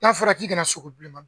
N'a fɔra k'i kana sogo bilenman